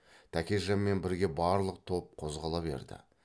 тәкежанмен бірге барлық топ қозғала берді